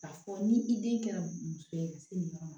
Ka fɔ ni i den kɛra muso ye ka se nin yɔrɔ ma